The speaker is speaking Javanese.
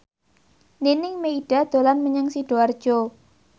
Nining Meida dolan menyang Sidoarjo